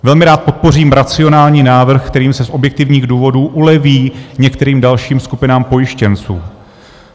Velmi rád podpořím racionální návrh, kterým se z objektivních důvodů uleví některým dalším skupinám pojištěnců.